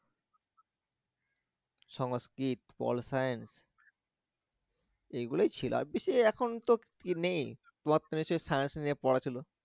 সংস্কৃত pol science এগুলোই ছিল আর বেশি এখন তো কি নেই তোমার তো নিশ্চয়ই science নিয়ে পড়া ছিল?